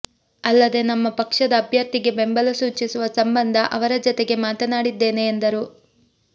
ಅಲ್ಲದೆ ನಮ್ಮ ಪಕ್ಷದ ಅಭ್ಯರ್ಥಿಗೆ ಬೆಂಬಲ ಸೂಚಿಸುವ ಸಂಬಂಧ ಅವರ ಜತೆಗೆ ಮಾತನಾಡಿದ್ದೇನೆ ಎಂದರು